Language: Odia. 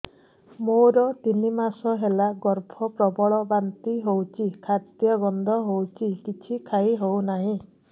ମୋର ତିନି ମାସ ହେଲା ଗର୍ଭ ପ୍ରବଳ ବାନ୍ତି ହଉଚି ଖାଦ୍ୟ ଗନ୍ଧ ହଉଚି କିଛି ଖାଇ ହଉନାହିଁ